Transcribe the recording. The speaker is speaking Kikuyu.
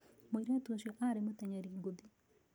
Mũirĩtu ũcio arĩ mũtenyeri ngũthi